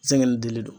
Zɛnŋɛ ni dilen don